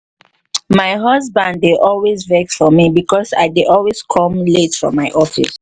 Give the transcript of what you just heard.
my husband dey always vex for me because i dey always come late from my office